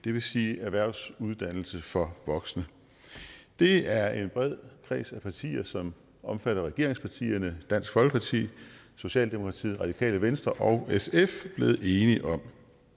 det vil sige erhvervsuddannelse for voksne det er en bred kreds af partier som omfatter regeringspartierne dansk folkeparti socialdemokratiet radikale venstre og sf blevet enige om